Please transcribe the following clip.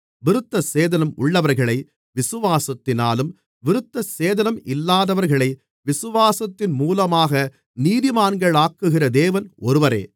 விருத்தசேதனம் உள்ளவர்களை விசுவாசத்தினாலும் விருத்தசேதனம் இல்லாதவர்களை விசுவாசத்தின் மூலமாகவும் நீதிமான்களாக்குகிற தேவன் ஒருவரே